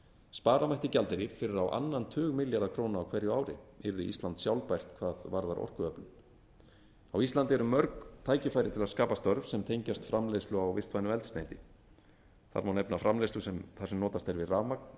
spara mætti gjaldeyri fyrir á annan tug milljarða króna á hverju ári yrði ísland sjálfbært hvað varðar orkuöflun á íslandi eru mörg tækifæri til að skapa störf sem tengjast framleiðslu á vistvænu eldsneyti þar má nefna framleiðslu þar sem notast er við rafmagn